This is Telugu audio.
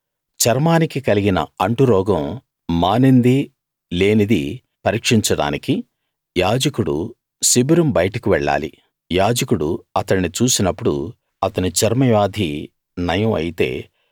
చర్మానికి కలిగిన అంటురోగం మానిందీ లేనిదీ పరీక్షించడానికి యాజకుడు శిబిరం బయటకు వెళ్ళాలి యాజకుడు అతణ్ణి చూసినప్పుడు అతని చర్మవ్యాధి నయం అయితే